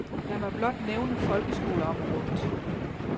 Lad mig blot nævne folkeskoleområdet.